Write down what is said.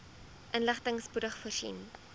inligting spoedig voorsien